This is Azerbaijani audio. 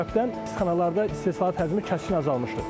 Bu səbəbdən istixanalarda istehsalat həcmi kəskin azalmışdı.